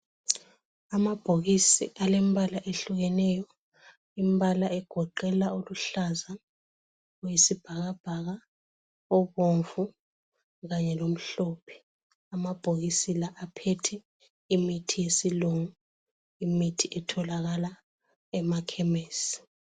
Amabhokisi alembala ehlukeneyo. Imbala egoqela oluhlaza, oyisibhakabhaka obomvu Kanye lomhlophe. Amabhokisi lawa aphethe imithi yesilungu imithi etholakala emakhemisi.